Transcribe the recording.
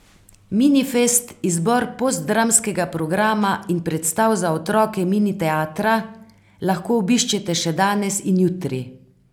Minifest, izbor postdramskega programa in predstav za otroke Mini teatra, lahko obiščete še danes in jutri.